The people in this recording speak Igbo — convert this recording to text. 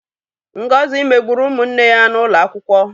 Ngozi megburu ụmụ nne ya n'ụlọ akwụkwọ.